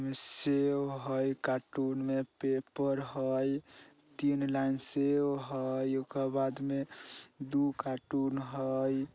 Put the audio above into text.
इ सेब है कार्टून में पेपर है तीन लाइन सेब है ओकर बाद में दू कार्टून हई।